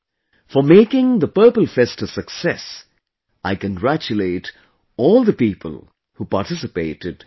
For making Purple Fest a success, I congratulate all the people who participated in it